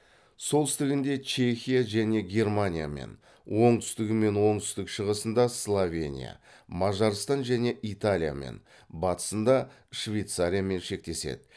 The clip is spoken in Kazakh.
солтүстігінде чехия және германиямен оңтүстігі мен оңтүстік шығысында словения мажарстан және италиямен батысында швейцариямен шектеседі